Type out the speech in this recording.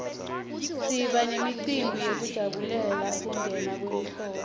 siba nemicimbi yekujabulela kungena kwelihlobo